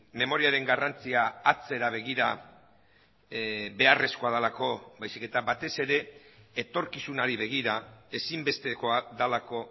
memoriaren garrantzia atzera begira beharrezkoa delako baizik eta batez ere etorkizunari begira ezinbestekoa delako